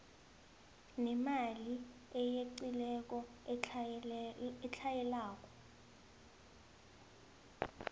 nemali eyeqileko etlhayelako